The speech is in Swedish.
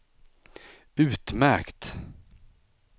utmärkt